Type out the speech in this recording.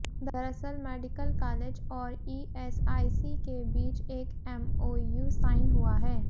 दरअसल medical college और ESIC के बीच एक एमओयू साइन हुआ है